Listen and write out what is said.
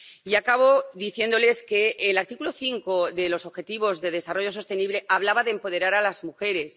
Y acabo diciéndoles que el objetivo 5 de los Objetivos de Desarrollo Sostenible hablaba de empoderar a las mujeres.